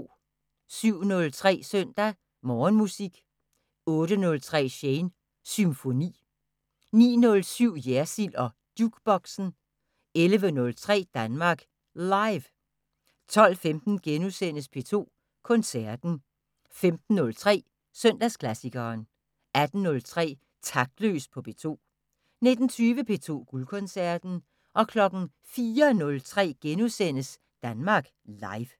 07:03: Søndag Morgenmusik 08:03: Shanes Symfoni 09:07: Jersild og Jukeboxen 11:03: Danmark Live 12:15: P2 Koncerten * 15:03: Søndagsklassikeren 18:03: Taktløs på P2 19:20: P2 Guldkoncerten 04:03: Danmark Live *